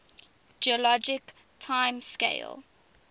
geologic time scale